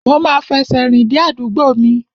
Mo ma fẹsẹ̀ rìn dé àdúgbò mi.